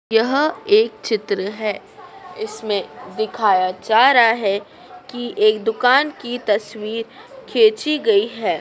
यह एक चित्र है इसमें दिखाया जा रहा है कि एक दुकान की तस्वीर खींची गई है।